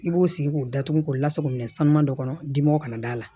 I b'o sigi k'o datugu k'o lasago minɛ sanu dɔ kɔnɔ dimiw kana d'a la